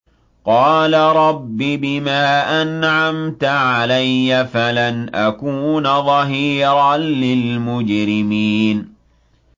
قَالَ رَبِّ بِمَا أَنْعَمْتَ عَلَيَّ فَلَنْ أَكُونَ ظَهِيرًا لِّلْمُجْرِمِينَ